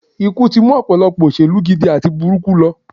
Ikú tí mú ọ̀pọ̀lọpọ̀ òṣèlú gidi àti burúkú lọ